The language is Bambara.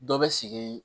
Dɔ bɛ sigi